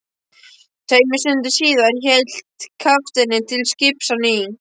Tveimur stundum síðar hélt kafteinninn til skips á ný.